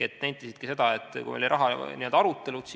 Nad nentisid seda siis, kui oli rahaarutelu.